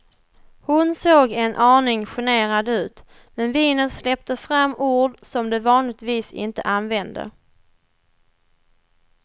Hon såg en aning generad ut, men vinet släppte fram ord som de vanligtvis inte använde.